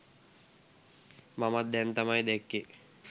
මමත් දැන් තමයි දැක්කේ.